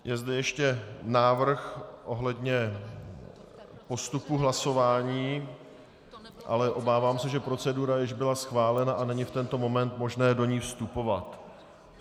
Je zde ještě návrh ohledně postupu hlasování, ale obávám se, že procedura již byla schválena a není v tento moment možné do ní vstupovat.